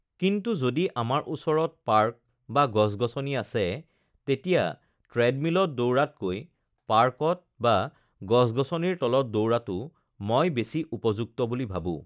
কিন্তু যদি আমাৰ ওচৰত পাৰ্ক বা গছ-গছনি আছে তেতিয়া ট্ৰেডমিলত দৌৰাতকৈ পাৰ্কত বা গছ-গছনিৰ তলত দৌৰাটো মই বেছি উপযুক্ত বুলি ভাবোঁ